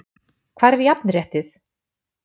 Hvar er jafnréttið??